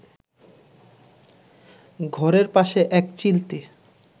ঘরের পাশে এক চিলতে